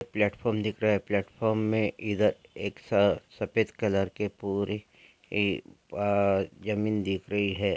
Platform दिख रहा है प्लेटफॉर्म में इधर एक स सफेद कलर के पूरी ए अ जमीन दिख रही है।